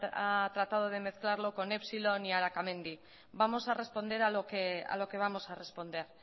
ha tratado de mezclarlo con epsilon y arakamendi vamos a responder a lo que vamos a responder